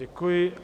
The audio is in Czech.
Děkuji.